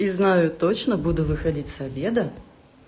и не знаю точно буду выходить с обеда